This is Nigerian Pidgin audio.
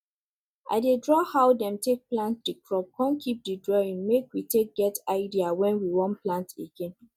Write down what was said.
i dey draw how dem take plant di crop con keep di drawing make we take get idea when we want plant again